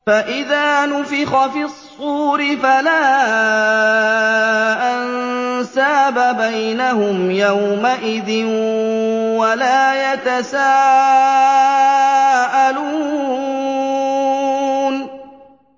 فَإِذَا نُفِخَ فِي الصُّورِ فَلَا أَنسَابَ بَيْنَهُمْ يَوْمَئِذٍ وَلَا يَتَسَاءَلُونَ